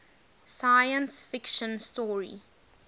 science fiction story